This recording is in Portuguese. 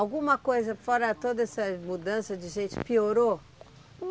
Alguma coisa, fora toda essas mudanças de gente, piorou?